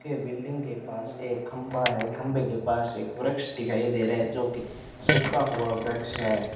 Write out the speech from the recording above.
के बिल्डिंग के पास एक खंभा है खंभे के पास एक वृक्ष दिखाई दे रहा है जोकि सूखा हुआ वृक्ष है।